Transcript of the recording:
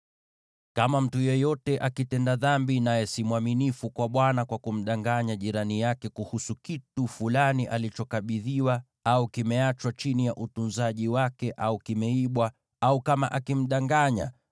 “Kama mtu yeyote akitenda dhambi, naye si mwaminifu kwa Bwana kwa kumdanganya jirani yake kuhusu kitu fulani alichokabidhiwa, au kimeachwa chini ya utunzaji wake, au kimeibwa, au kama akimdanganya,